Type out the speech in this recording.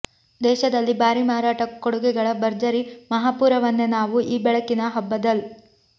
ದೇಶದಲ್ಲಿ ಭಾರೀ ಮಾರಾಟ ಕೊಡುಗೆಗಳ ಭರ್ಜರಿ ಮಹಾಪೂರವನ್ನೇ ನಾವು ಈ ಬೆಳಕಿನ ಹಬ್ಬದಲ್